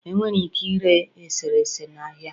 Enwere ike ire eserese na ahịa